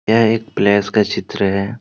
यह एक प्लेस का चित्र है।